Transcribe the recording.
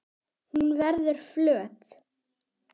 Hún verður flöt.